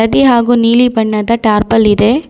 ತ್ತೆ ಹಾಗೂ ನೀಲಿ ಬಣ್ಣದ ಟಾರ್ಪಲ್ ಇದೆ.